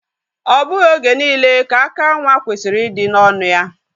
O bughi oge niile ka aka nwa kwesiri idi n'onụ ya.